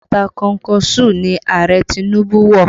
Bàtà kọnkọṣúù ni Ààrẹ Tinubu wọ̀